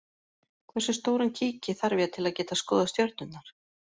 Hversu stóran kíki þarf ég til að geta skoðað stjörnurnar?